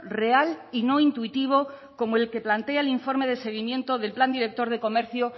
real y no intuitivo como el que plantea el informe de seguimiento del plan director de comercio